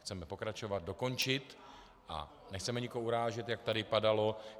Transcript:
Chceme pokračovat, dokončit a nechceme nikoho urážet, jak tady padalo.